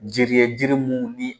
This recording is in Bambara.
Jiri ye jiri mun bi